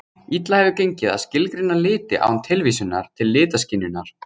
Illa hefur gengið að skilgreina liti án tilvísunar til litaskynjunar.